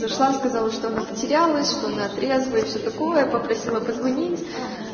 зашла сказала что она потерялась что она трезвая и все такое попросила позвонить